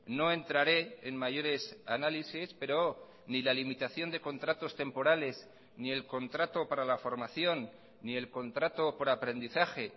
no entraré en mayores análisis pero ni la limitación de contratos temporales ni el contrato para la formación ni el contrato por aprendizaje